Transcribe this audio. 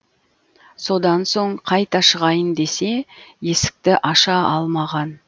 содан соң қайта шығайын десе есікті аша алмаған